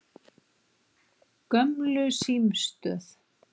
Gömlu símstöð